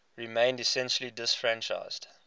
remained essentially disfranchised